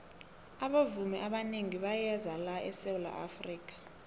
abavumi abanengi bayeza la esawula afrika